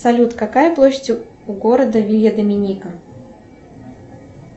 салют какая площадь у города вилья доминика